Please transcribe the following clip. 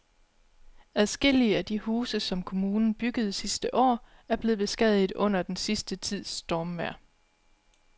Adskillige af de huse, som kommunen byggede sidste år, er blevet beskadiget under den sidste tids stormvejr.